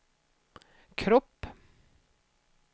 kropp